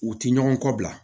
U ti ɲɔgɔn kɔ bila